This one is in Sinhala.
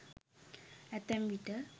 අතැම් විට